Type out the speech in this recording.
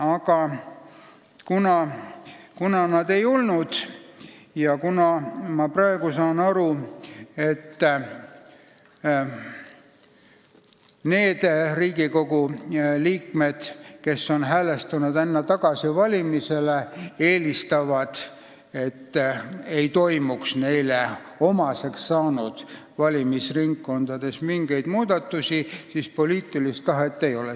Aga kuna nii ei ole tehtud ja kuna ma praegu saan aru, et need Riigikogu liikmed, kes on häälestanud ennast tagasivalimisele, eelistavad, et neile omaseks saanud valimisringkonnas ei toimuks mingeid muudatusi, siis on selge, et siin poliitilist tahet ei ole.